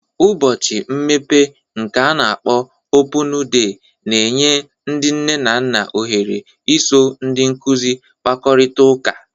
Ụbọchị mmepe nke ana-akpọ Opụñu De na-enye ndị nne na nna ohere iso ndị nkuzi kpakọrịta ụka.